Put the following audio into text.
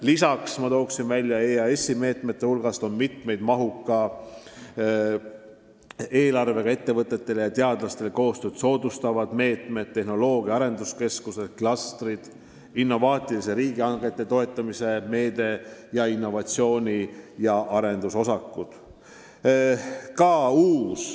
Lisaks toon välja, et EAS-is on käivitatud mitmeid mahuka eelarvega ettevõtete ja teadlaste koostööd soodustavaid meetmeid, on olemas tehnoloogia arenduskeskuste klastrid, innovaatiliste riigihangete toetamise meede ning innovatsiooni- ja arendusosakud.